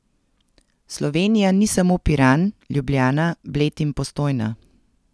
Slovenija ni samo Piran, Ljubljana, Bled in Postojna.